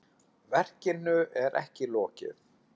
Verkinu er ekki lokið.